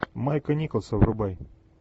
майка николса врубай